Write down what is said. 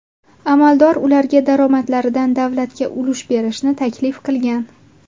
Amaldor ularga daromadlaridan davlatga ulush berishni taklif qilgan.